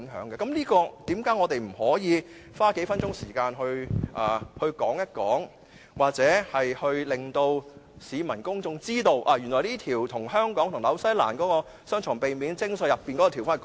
為何我們不可以花數分鐘時間討論或令到市民公眾知道，原來會更改香港與新西蘭的避免雙重課稅條款？